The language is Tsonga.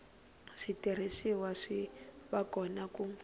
switirhisiwa swi va kona ku